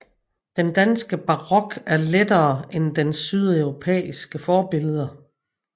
Den danske barok er lettere end dens sydeuropæiske forbilleder